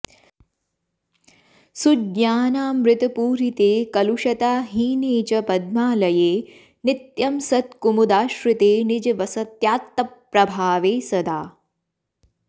सुज्ञानामृतपूरिते कलुषताहीने च पद्मालये नित्यं सत्कुमुदाश्रिते निजवसत्यात्तप्रभावे सदा